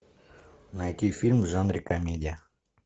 найти фильм в жанре комедия